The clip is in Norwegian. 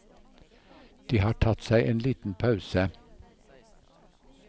De har tatt seg en liten pause.